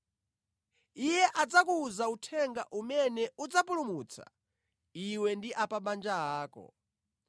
Iye adzakuwuza uthenga umene udzapulumutsa iwe ndi a pa banja ako.’